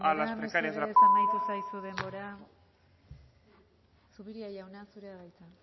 denbora mesedez amaitu zaizu denbora zupiria jauna zurea da hitza